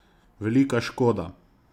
Velika škoda.